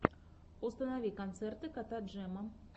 установи концерты кота джема